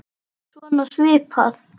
Svona svipað.